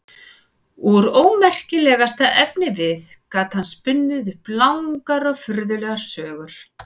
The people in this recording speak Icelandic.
Úr ómerkilegasta efnivið gat hann spunnið upp langar og furðulegar sögur.